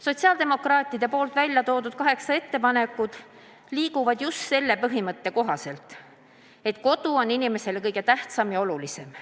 Sotsiaaldemokraatide tehtud kaheksa ettepanekut lähtuvad just sellest põhimõttest, et kodu on inimesele kõige tähtsam ja olulisem.